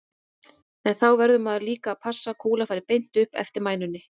En þá verður maður líka að passa að kúlan fari beint upp eftir mænunni.